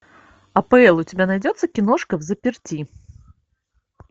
апл у тебя найдется киношка взаперти